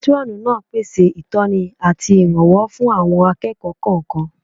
Pétúrọ̀nù náà pèsè ìtọ́ni àti ìrànwọ́ fún àwọn akẹ́kọ̀ọ́ kọ̀ọ̀kan